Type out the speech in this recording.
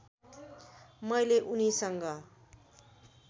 मैले उनीसँग